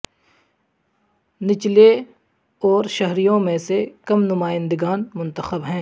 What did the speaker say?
نچلے اور شہریوں میں سے کم نمائندگان منتخب ہیں